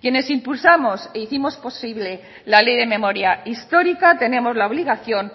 quienes impulsamos e hicimos posible la ley de memoria histórica tenemos la obligación